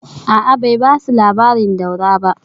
A’a, bai ba su labarin Daura ba